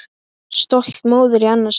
Stolt móðir í annað sinn.